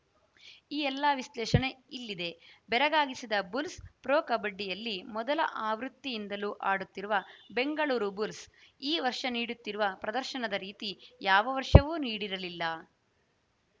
ಈ ಎಲ್ಲಾ ವಿಶ್ಲೇಷಣೆ ಇಲ್ಲಿದೆ ಬೆರಾಗಿಗಿಸಿದ ಬುಲ್ಸ್‌ ಪ್ರೊ ಕಬಡ್ಡಿಯಲ್ಲಿ ಮೊದಲ ಆವೃತ್ತಿಯಿಂದಲೂ ಆಡುತ್ತಿರುವ ಬೆಂಗಳೂರು ಬುಲ್ಸ್‌ ಈ ವರ್ಷ ನೀಡುತ್ತಿರುವ ಪ್ರದರ್ಶನದ ರೀತಿ ಯಾವ ವರ್ಷವೂ ನೀಡಿರಲಿಲ್ಲ